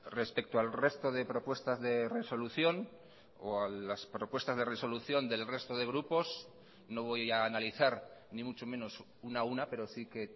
respecto al resto de propuestas de resolución o a las propuestas de resolución del resto de grupos no voy a analizar ni mucho menos una a una pero sí que